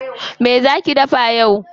Me zaa ki dafa yau?